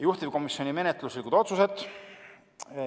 Juhtivkomisjoni menetluslikud otsused.